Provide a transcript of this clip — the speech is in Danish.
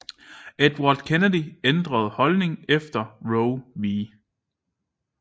Edward Kennedy ændrede holdning efter Roe v